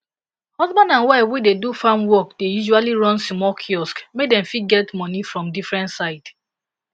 husband and wife wey dey do farm work dey usually run small kiosk make dem fit get money from different side